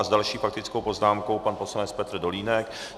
A s další faktickou poznámkou pan poslanec Petr Dolínek.